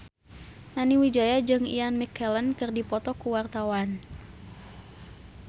Nani Wijaya jeung Ian McKellen keur dipoto ku wartawan